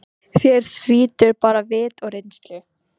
Hér þrýtur mig bara vit og reynslu.